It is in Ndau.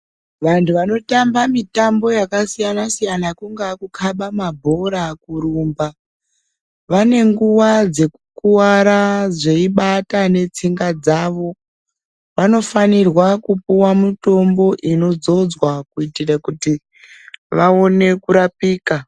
Vantu vanotamba mitambo yakasiyana-siyana, kungaa kukaba mabhora, kurumba, vane nguwa dzekukuwara dzeyibata netsinga dzavo, vanofanirwa kupuwa mutombo inodzodzwa kuyitire kuti vawone kurapika.